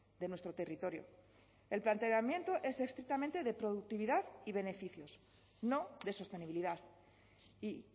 de nuestro territorio el planteamiento es estrictamente de productividad y beneficios no de sostenibilidad y